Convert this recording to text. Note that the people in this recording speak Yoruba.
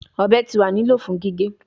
Ọbẹ ti wa ni lilo fun gige